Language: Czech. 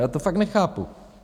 Já to fakt nechápu.